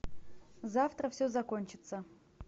завтра все закончится